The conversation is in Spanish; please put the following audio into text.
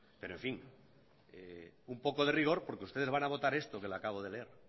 pero un poco de rigor porque ustedes van a votar esto que le acabo de leer